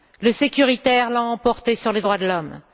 Le sécuritaire l'a emporté sur les droits de l'homme.